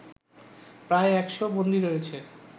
প্রায় ১০০ বন্দী রয়েছে